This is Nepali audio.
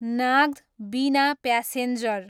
नाग्द, बिना प्यासेन्जर